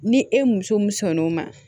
Ni e muso min sɔnn'o ma